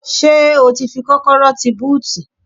Ṣé ó ti fi kọ́kọ́rọ́ tí búùtì?